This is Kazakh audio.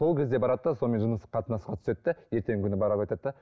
сол кезде барады да сонымен жыныстық қатынасқа түседі де ертеңгі күні барып айтады да